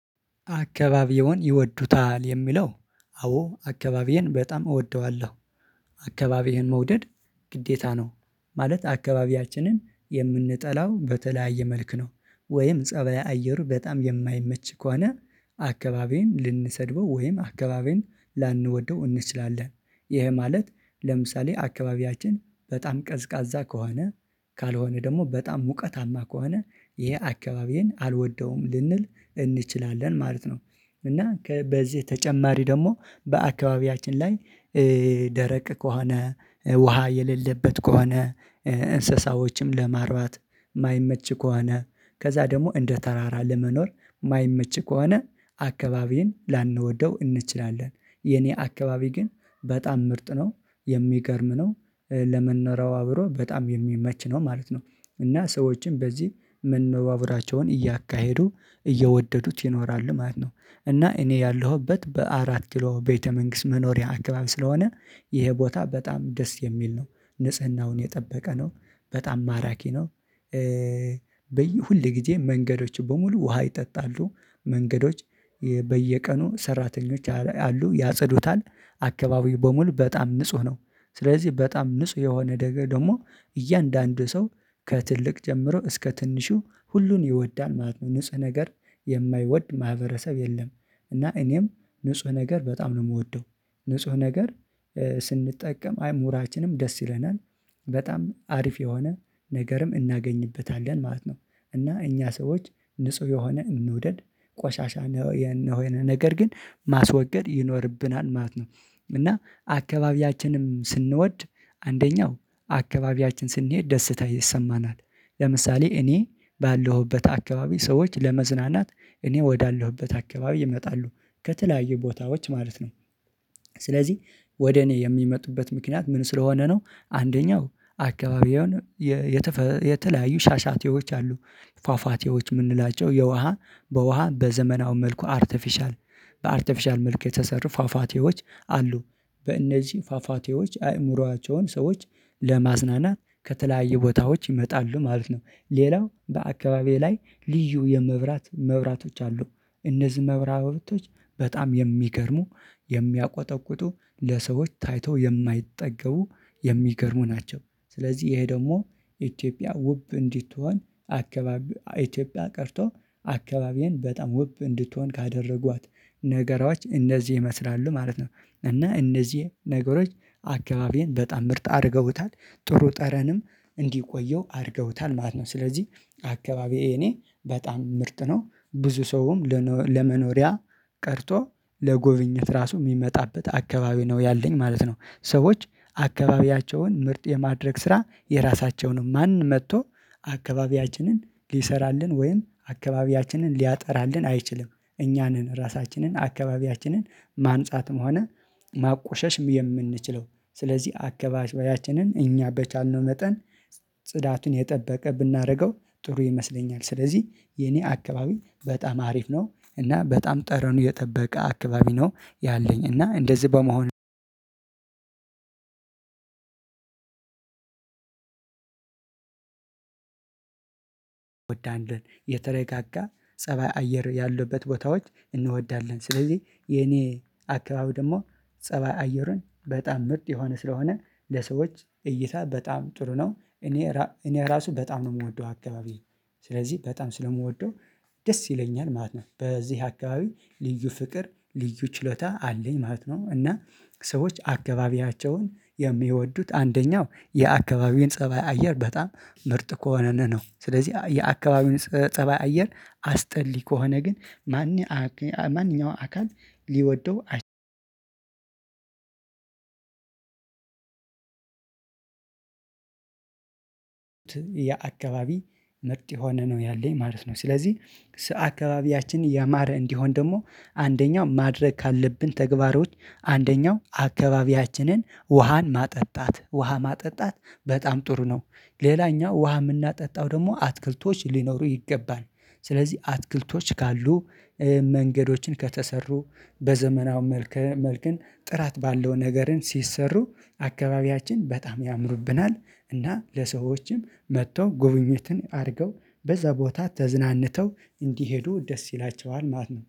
አካባቢውን ይወዱታል የሚለው? አዎ አካባቢዬን በጣም እወደዋለሁ። አካባቢህን መውደድ ግዴታ ነው። ማለት አካባቢያችንን የምንጠላው በተለያየ መልክ ነው ወይም ፀባይ አየሩ በጣም የማይመች ከሆነ አካባቢዬን ልንሰድበው ወይም አካባቢዬን ላንወደው እንችላለን። ይሄ ማለት ለምሳሌ አካባቢያችን በጣም ቀዝቃዛ ከሆነ ካልሆነ ደግሞ በጣም ሙቀታማ ከሆነ ይሄ አካባቢዬን አልወደውም ልንል እንችላለን ማለት ነው። እና ከበዚህ ተጨማሪ ደግሞ በአካባቢያችን ላይ ደረቅ ከሆነ ውሃ የሌለበት ከሆነ። እንስሳዎችም ለማርባት የማይመች ከሆነ ከዛ ደግሞ እንደ ተራራ ለመኖር የማይመች ከሆነ አካባቢን ላንወደው እንችላለን። የኔ አካባቢ ግን በጣም ምርጥ ነው የሚገርም ነው ለመኖሪያው አብሮ በጣም የሚመች ነው ማለት ነው። እና ሰዎችን በዚህ መነባቡራቸውን እያካሄዱ እየወደዱት ይኖራሉ ማለት ነው። እና እኔ ያለሁበት በአራት ኪሎ ቤተ መንግስት መኖሪያ አካባቢ ስለሆነ ይሄ ቦታ በጣም ደስ የሚል ነው። ንጽህናውን የጠበቀ ነው በጣም ማራኪ ነው። በየሁልጊዜ መንገዶች በሙሉ ውሃ ይጠጣሉ መንገዶች በየቀኑ ሰራተኞች አሉ ያጸዱታል። አካባቢው በሙሉ በጣም ንጹህ ነው። ስለዚህ በጣም ንጹህ የሆነ ደግሞ እያንዳንዱ ሰው ከትልቅ ጀምሮ እስከ ትንሹ ሁሉን ይወዳል ማለት ነው ንጽህ ነገር የማይወድ ማህበረሰብ የለም። እና እኔም ንጹህ ነገር በጣም ነው የምወደው። ንጹህ ነገር ስንጠቀም አይ ሙራችንም ደስ ይለናል። በጣም አሪፍ የሆነ ነገርም እናገኝበታለን ማለት ነው። እና እኛ ሰዎች ንጹህ የሆነ እንውደድ ቆሻሻ የሆነ ነገር ግን ማስወገድ ይኖርብናል ማለት ነው። እና አካባቢያችንም ስንወድ አንደኛው አካባቢያችን ስንሄድ ደስታ ይሰማናል። ለምሳሌ እኔ ባለሁበት አካባቢ ሰዎች ለመዝናናት እኔ ወዳለሁበት አካባቢ ይመጣሉ ከተለያዩ ቦታዎች ማለት ነው። ስለዚህ ወደ እኔ የሚመጡበት ምክንያት ምን ስለሆነ ነው? አንደኛው አካባቢውን የተለያዩ ሻሻቴዎች አሉ ፏፏቴዎች የምንላቸው የውሃ በውሃ በዘመናዊ መልኩ አርቴፊሻል በአርቴፊሻል መልኩ የተሰሩ ፋፋቴዎች አሉ። በእነዚህ ፋፋቴዎች አእምሮአቸውን ሰዎች ለማዝናናት ከተለያዩ ቦታዎች ይመጣሉ ማለት ነው። ሌላው በአካባቢዬ ላይ ልዩ የመብራት መብራቶች አሉ። እነዚህ መብራቶች በጣም የሚገርሙ የሚያቆጠቁጡ ለሰዎች ታይቶ የማይጠገቡ የሚገርሙ ናቸው። ስለዚህ ይሄ ደግሞ ኢትዮጵያ ውብ እንዲትሆን አካባቢ ኢትዮጵያ ቀርቶ አካባቢን በጣም ውብ እንድትሆን ካደረጓት ነገሮች እንደዚህ ይመስላሉ ማለት ነው። እና እነዚህ ነገሮች አካባቢን በጣም ምርጥ አድርገውታል። ጥሩ ጠረንም እንዲቆየው አድርገውታል ማለት ነው። ስለዚህ አካባቢ እኔ በጣም ምርጥ ነው ብዙ ሰውም ለመኖሪያ ቀርቶ ለጎብኝት ራሱ የሚመጣበት አካባቢ ነው ያለኝ ማለት ነው። ሰዎች አካባቢያቸውን ምርጥ የማድረግ ስራ የራሳቸውንም ማን መጥቶ አካባቢያችንን ሊሰራልን ወይም አካባቢያችንን ሊያጠራልን አይችልም። እኛ ነን ራሳችንን አካባቢያችንን ማንጻትም ሆነ ማቆሸሽም የምንችለው። ስለዚህ አከባቢያችንን እኛ በቻልነው መጠን ጽዳቱን የጠበቀ ብናደርገው ጥሩ ይመስለኛል። ስለዚህ የኔ አካባቢ በጣም አሪፍ ነው። እና በጣም ጠረኑ የጠበቀ አካባቢ ነው ያለኝ እና እንደዚህ በመሆን። ወዳለን የተረጋጋ ፀባይ አየር ያሉበት ቦታዎች እንወዳለን ስለዚህ የኔ አካባቢ ደግሞ ፀባይ አየርን በጣም ምርጥ የሆነ ስለሆነ ለሰዎች እይታ በጣም ጥሩ ነው እኔ እራ እኔ ራሱ በጣም ነው የምወደው አካባቢ ስለዚህ በጣም ስለምወደው ደስ ይለኛል ማለት ነው። በዚህ አካባቢ ልዩ ፍቅር ልዩ ችሎታ አለኝ ማለት ነው። እና ሰዎች አካባቢያቸውን የሚወዱት አንደኛው የአካባቢውን ፀባይ አየር በጣም ምርጥ ከሆነን ነው። ስለዚህ የአካባቢውን ፀባይ አየር አስጠሊ ከሆነ ግን ማን ማንኛውም አካል ሊወደው? የአካባቢ ምርጥ የሆነ ነው ያለኝ ማለት ነው። ስለዚህ አካባቢያችን ያማረ እንዲሆን ደግሞ ማድረግ ካለብን ተግባሮች አንደኛው አካባቢያችንን ውሃን ማጠጣት ውሃ ማጠጣት በጣም ጥሩ ነው። ሌላኛው ውሃ የምናጠጣው ደግሞ አትክልቶች ሊኖሩ ይገባል። ስለዚህ አትክልቶች ካሉ። መንገዶችን ከተሰሩ በዘመናው መልክ ጥራት ባለው ነገርን ሲሰሩ አካባቢያችን በጣም ያምሩብናል እና ለሰዎችም መጥተው ጉብኝትን አድርገው በዛ ቦታ ተዝናንተው እንዲሄዱ ደስ ይላቸዋል ማለት ነው